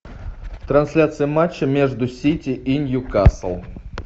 трансляция матча между сити и ньюкасл